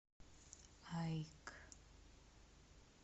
аик